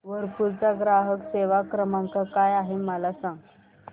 Whirlpool चा ग्राहक सेवा क्रमांक काय आहे मला सांग